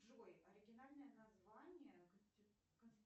джой оригинальное название